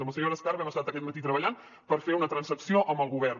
amb la senyora escarp hem estat aquest matí treballant per fer una transacció amb el govern